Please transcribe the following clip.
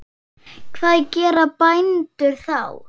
Hvað gera bændur þá?